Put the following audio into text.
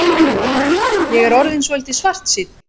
Ég er orðinn svolítið svartsýnn.